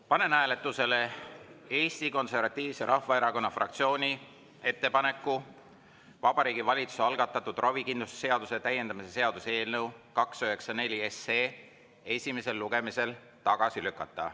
Panen hääletusele Eesti Konservatiivse Rahvaerakonna fraktsiooni ettepaneku Vabariigi Valitsuse algatatud ravikindlustuse seaduse täiendamise seaduse eelnõu 294 esimesel lugemisel tagasi lükata.